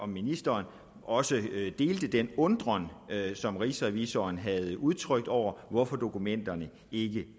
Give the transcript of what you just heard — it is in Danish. ministeren også delte den undren som rigsrevisoren havde udtrykt nemlig over hvorfor dokumenterne ikke